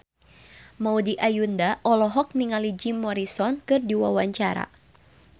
Maudy Ayunda olohok ningali Jim Morrison keur diwawancara